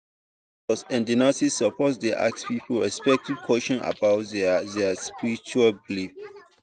doctors and nurses suppose dey ask people respectful question about their their spiritual belief.